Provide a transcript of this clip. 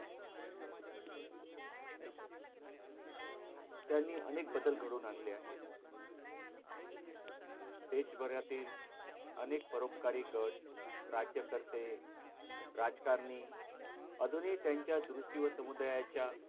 त्यांनी अनेक बदल घडवून आणले आहे देशभरातील अनेक परोपकारिक गट राज्यकर्ते राजकारणी अजूनही त्यांच्या दृष्टी व समुदायाच्या